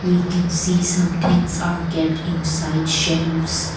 we can see some things are kept in side shelves.